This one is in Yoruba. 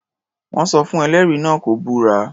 Wọ́n sọ fún ẹlẹ́rìí náà kó búra.